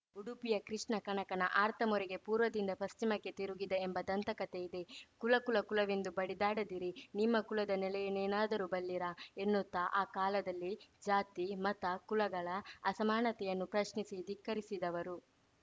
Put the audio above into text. ಉಡುಪಿಯ ಕೃಷ್ಣ ಕನಕನ ಆರ್ತ ಮೊರೆಗೆ ಪೂರ್ವದಿಂದ ಪಶ್ಚಿಮಕ್ಕೆ ತಿರುಗಿದ ಎಂಬ ದಂತಕತೆ ಇದೆ ಕುಲ ಕುಲ ಕುಲವೆಂದು ಬಡಿದಾಡದಿರಿ ನಿಮ್ಮ ಕುಲದ ನೆಲೆಯನೇನಾದರೂ ಬಲ್ಲಿರಾ ಎನ್ನುತ್ತಾ ಆ ಕಾಲದಲ್ಲೇ ಜಾತಿ ಮತ ಕುಲಗಳ ಅಸಮಾನತೆಯನ್ನು ಪ್ರಶ್ನಿಸಿ ಧಿಕ್ಕರಿಸಿದವರು